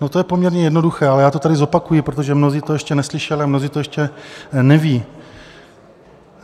No, to je poměrně jednoduché, ale já to tady zopakuji, protože mnozí to ještě neslyšeli a mnozí to ještě nevědí.